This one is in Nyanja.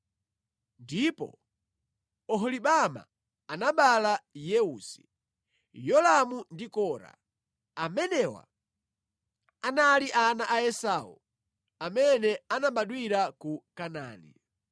ndipo Oholibama anabereka Yeusi, Yolamu ndi Kora. Amenewa anali ana a Esau amene anabadwira ku Kanaani.